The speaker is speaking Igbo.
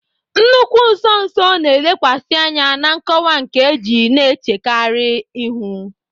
Nnukwu nso nso na-elekwasị anya na nkọwa nkeji na-echekarị ihu.